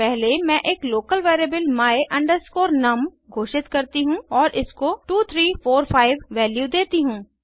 पहले मैं एक लोकल वेरिएबल my num घोषित करती हूँ और इसको 2345 वैल्यू देती हूँ